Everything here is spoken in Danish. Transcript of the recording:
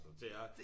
Det er